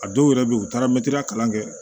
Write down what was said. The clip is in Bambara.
A dɔw yɛrɛ bɛ yen u taara kalan kɛ